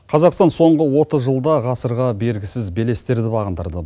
қазақстан соңғы отыз жылда ғасырға бергісіз белестерді бағындырды